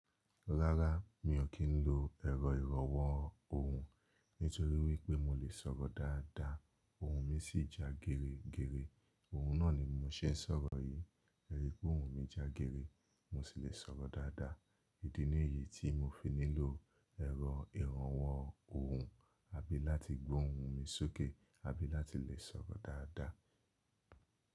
Rárá, mi ò kí ń lo ẹ̀rọ ìrànwọ́ ohùn nítorí wípé mo lè sọ̀rọ̀ dáadáa, ohùn mi sì ja gère gère. Ohùn náà ni mo ṣe ń sọ̀rọ̀ yí. Ẹ ri pé ohùn mi já gère, mo sì lè sọ̀rọ̀ dáadáa. Ìdí nìyí tí mo fi nílò ẹ̀rọ ìrànwọ́ ohùn, àbí láti gbo ohùn mi sókè àbí láti lè sọ̀rọ̀ dáadáa.